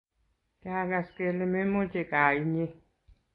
Kiakas kelee memoche gaa inye